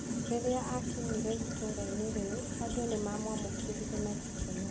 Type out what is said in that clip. Rĩrĩa aakinyire itũũra-inĩ rĩu, andũ nĩ maamwamũkĩrire na gĩkeno.